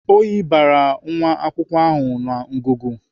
Oyi bara nwa akwụkwọ ahụ na ngụgụ.